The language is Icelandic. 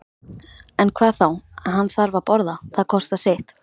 En hvað þá, hann þarf að borða, það kostar sitt.